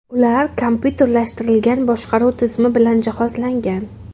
Ular kompyuterlashtirilgan boshqaruv tizimi bilan jihozlangan.